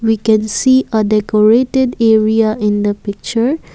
we can see a decorated area in the picture.